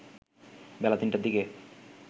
বেলা ৩টার দিকে